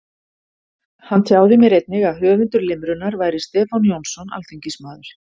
Hann tjáði mér einnig að höfundur limrunnar væri Stefán Jónsson alþingismaður.